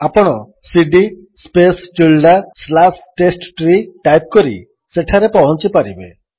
ଆପଣ cd space tilde slash test tree type କରି ସେଠାରେ ପହଞ୍ଚିପାରିବେ